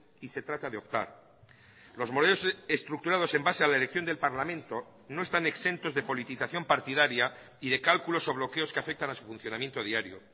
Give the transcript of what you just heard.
y se trata de optar los modelos estructurados en base a la elección del parlamento no están exentos de politización partidaria y de cálculos o bloqueos que afectan a su funcionamiento diario